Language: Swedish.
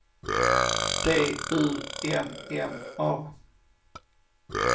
D U M M A